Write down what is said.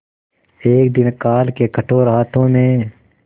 एक दिन काल के कठोर हाथों ने